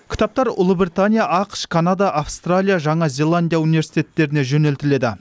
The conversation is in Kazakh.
кітаптар ұлыбритания ақш канада аустралия жаңа зеландия университеттеріне жөнелтіледі